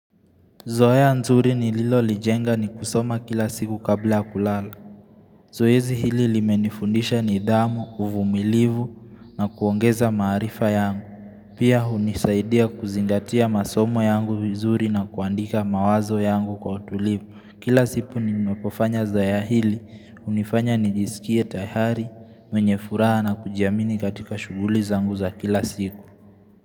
Zoea nzuri nililolijenga ni kusoma kila siku kabla a kulala. Zoezi hili limenifundisha nidhamu, uvumilivu na kuongeza maarifa yangu. Pia hunisaidia kuzingatia masomo yangu vizuri na kuandika mawazo yangu kwa utulivu. Kila sipu ninepofanya zoya hili, hunifanya nijisikie tayari, mwenye furaha na kujiamini katika shughuli zangu za kila siku.